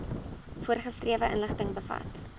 voorgeskrewe inligting bevat